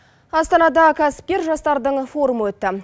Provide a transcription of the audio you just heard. астанада кәсіпкер жастардың форумы өтті